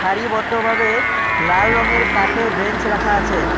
সারিবদ্ধভাবে লাল রঙের কাঠের বেঞ্চ রাখা আছে।